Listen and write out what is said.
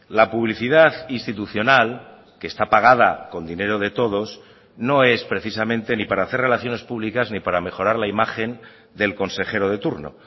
la publicidad institucional que está pagada con dinero de todos no es precisamente ni para hacer relaciones públicas ni para mejorar la imagen del consejero de turno